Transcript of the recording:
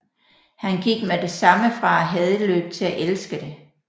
Han gik med det samme fra at hade løb til at elske det